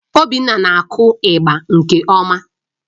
Obinna na-akụ ịgba nke ọma